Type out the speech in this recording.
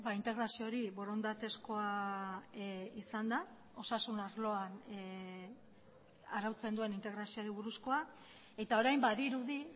integrazio hori borondatezkoa izan da osasun arloan arautzen duen integrazioari buruzkoa eta orain badirudi